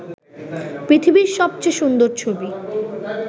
পৃথিবীর সবচেয়ে সুন্দর ছবি